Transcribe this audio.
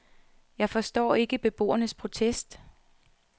Jeg forstår ikke beboernes protest.